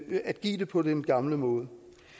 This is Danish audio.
give det på den gamle måde